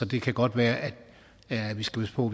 det kan godt være at vi skal passe på